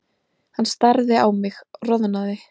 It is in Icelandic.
Hann starði á mig, roðnaði.